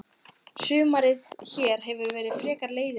Sumarið hér hefur verið frekar leiðinlegt.